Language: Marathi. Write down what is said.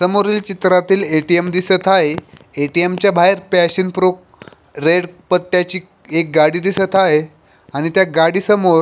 समोर चित्रात ए.टी.एम दिसत आहे ए.टी.एम च्या बाहेर पॅशन प्रो रेड पट्ट्याची गाडी दिसत आहे आणि त्या गाडी समोर --